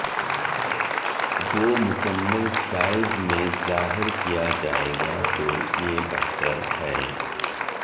وہ مکمل سائز میں ظاہر کیا جائے گا تو یہ بہتر ہے